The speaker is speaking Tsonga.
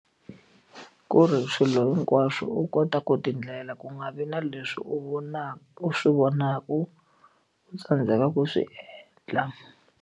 Ku ri swilo hinkwaswo u kota ku ti endlela ku nga vi na leswi u vonaka u swi vonaka u tsandzeka ku swi endla.